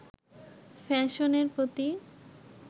ফ্যাশনের প্রতি